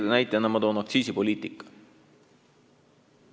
Teise näitena nimetan aktsiisipoliitikat.